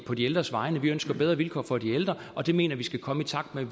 på de ældres vegne vi ønsker bedre vilkår for de ældre og det mener vi skal komme i takt med